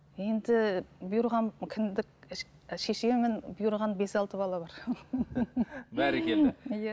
енді бұйырған кіндік шешемін бұйырған бес алты бала бар бәрекелді иә